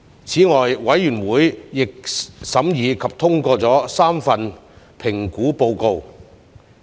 此外，委員會亦審議及通過了3份評估報告。